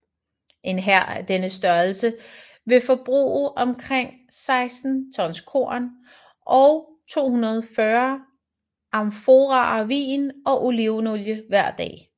En hær af denne størrelse ville forbruge omkring 60 tons korn og 240 amforaer vin og olivenolie hver dag